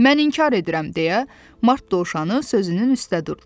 Mən inkar edirəm deyə Mart Dovşanı sözünün üstə durdu.